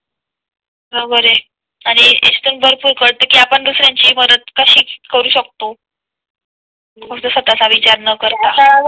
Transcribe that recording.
बरोबर आहे आणि याच्यातून भरपूर कळत कि आपण दुसऱ्यांची मदत कशी करू शकतो? हो स्वतःचा विचार न करता